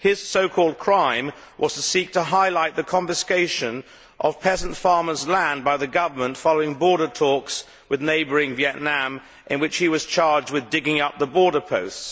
His so called crime was to seek to highlight the confiscation of peasant farmers' land by the government following border talks with neighbouring Vietnam, in the course of which he was charged with digging up the border posts.